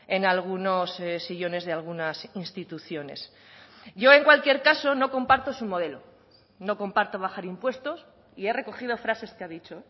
en algunos sillones de algunas instituciones yo en cualquier caso no comparto su modelo no comparto bajar impuestos y he recogido frases que ha dicho